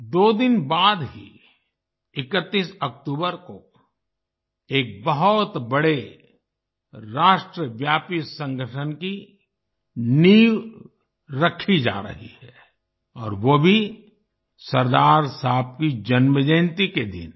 दो दिन बाद ही 31 अक्टूबर को एक बहुत बड़े राष्ट्रव्यापी संगठन की नींव रखी जा रही है और वो भी सरदार साहब की जन्मजयन्ती के दिन